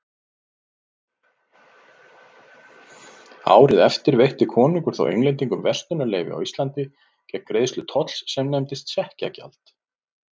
Árið eftir veitti konungur þó Englendingum verslunarleyfi á Íslandi gegn greiðslu tolls sem nefndist sekkjagjald.